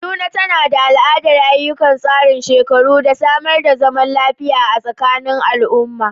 Kaduna, tana da al’adar ayyukan tsarin shekaru, da samar da zaman lafiya a tsakanin al’umma.